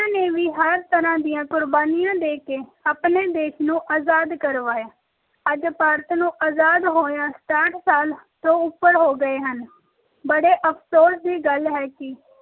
ਨੇ ਵੀ ਹਰ ਤਰ੍ਹਾਂ ਦੀ ਕੁਰਬਾਨੀਆਂ ਦ ਕੇ ਆਪਣੇ ਦੇਸ਼ ਨੂੰ ਆਜ਼ਾਦ ਕਰਵਾਇਆ ਅੱਜ ਭਾਰਤ ਨੂੰ ਆਜ਼ਾਦ ਹੋਇਆ ਸਾਠ ਸਾਲ ਤੋਂ ਉੱਪਰ ਹੋ ਗਏ ਹਨ ਬੜੇ ਅਫਸੋਸ ਦੀ ਗੱਲ ਹੈ ਕਿ